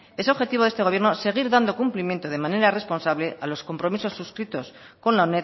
es objetivo de este gobierno seguir dando cumplimiento de manera responsable a los compromisos suscritos con la